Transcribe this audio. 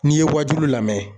N'i ye wajulu lamɛn.